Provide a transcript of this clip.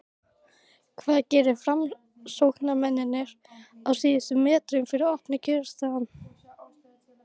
hvað gera framsóknarmenn á síðustu metrunum fyrir opnun kjörstaða?